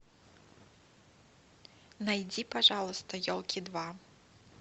найди пожалуйста елки два